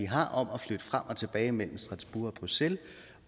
har om at flytte frem og tilbage mellem strasbourg og bruxelles